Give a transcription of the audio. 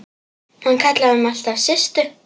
Hann kallaði mig alltaf Systu.